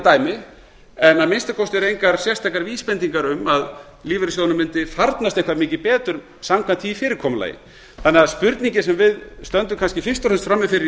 dæmi en að minnsta kosti eru engar sérstakar vísbendingar um að lífeyrissjóðunum mundi farnast eitthvað mikið betur samkvæmt því fyrirkomulagi þannig að spurningin sem við stöndum kannski fyrst og fremst frammi fyrir í